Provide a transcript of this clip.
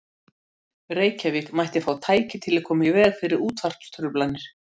Reykjavík mætti fá tæki til að koma í veg fyrir útvarpstruflanir.